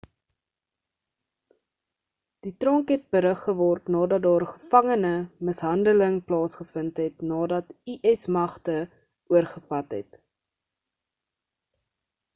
die tronk het berug geword nadat daar gevangene mishandeling plaasgevind het nadat us magte oorgevat het